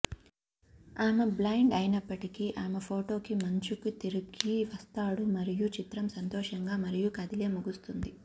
ఆమె బ్లైండ్ అయినప్పటికీ ఆమె పోటీకి మంచుకు తిరిగి వస్తాడు మరియు చిత్రం సంతోషంగా మరియు కదిలే ముగుస్తుంది